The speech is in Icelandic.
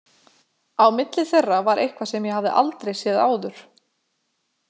Á milli þeirra var eitthvað sem ég hafði aldrei séð áður.